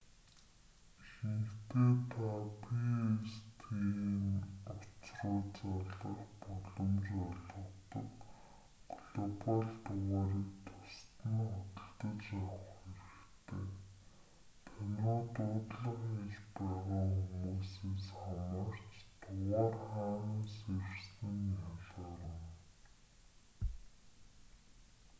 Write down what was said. ихэнхдээ та pstn утас руу залгах боломж олгодог глобал дугаарыг тусад нь худалдаж авах хэрэгтэй тань руу дуудлага хийж байгаа хүмүүсээс хамаарч дугаар хаанаас ирсэн нь ялгарна